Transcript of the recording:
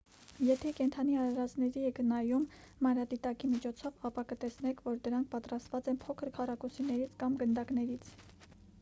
եթե կենդանի արարածների եք նայում մանրադիտակի միջոցով ապա կտեսնեք որ դրանք պատրաստված են փոքր քառակուսիներից կամ գնդակներից